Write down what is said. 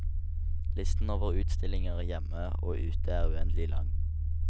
Listen over utstillinger hjemme og ute er uendelig lang.